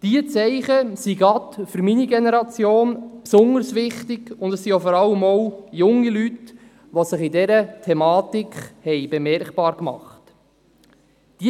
Diese Zeichen sind gerade für meine Generation besonders wichtig, und es sind vor allem auch junge Leute, die sich in dieser Thematik bemerkbar gemacht haben.